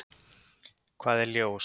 Hvað er ljós?